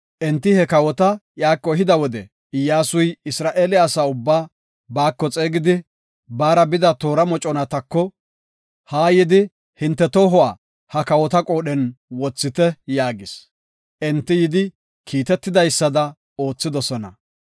Enti he kawota iyako ehida wode, Iyyasuy Isra7eele asa ubbaa baako xeegidi, baara bida toora moconatako, “Haa yidi, hinte tohuwa ha kawota qoodhiyan wothite” yaagis. Enti yidi kiitetidaysada oothidosona.